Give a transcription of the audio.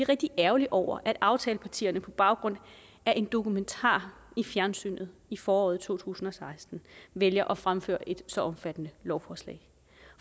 rigtig ærgerlige over at aftalepartierne på baggrund af en dokumentar i fjernsynet i foråret to tusind og seksten vælger at fremføre et så omfattende lovforslag